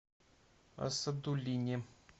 асадуллине